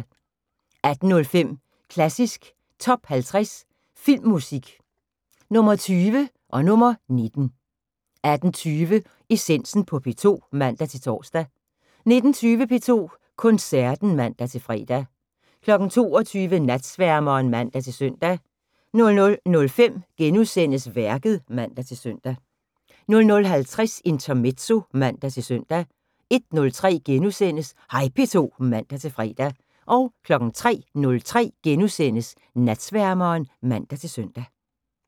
18:05: Klassisk Top 50 Filmmusik – Nr. 20 og nr. 19 18:20: Essensen på P2 (man-tor) 19:20: P2 Koncerten (man-fre) 22:00: Natsværmeren (man-søn) 00:05: Værket *(man-søn) 00:50: Intermezzo (man-søn) 01:03: Hej P2 *(man-fre) 03:03: Natsværmeren *(man-søn)